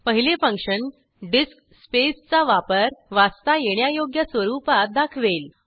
पहिले function disk space चा वापर वाचता येण्यायोग्य स्वरूपात दाखवेल